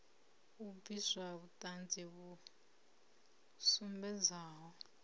u bvisa vhuṱanzi vhu sumbedzaho